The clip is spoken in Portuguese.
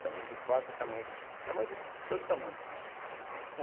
Tamanho de faca, tamanho de tamanho de todo tamanho.